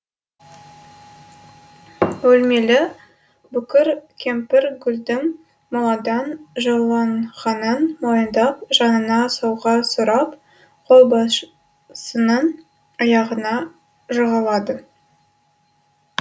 өлмелі бүкір кемпір гүлдің моладан жұлынғанын мойындап жанына сауға сұрап қолбасшының аяғына жығылады